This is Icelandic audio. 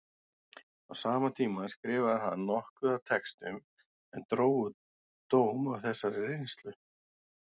Á sama tíma skrifaði hann nokkuð af textum sem drógu dám af þessari reynslu.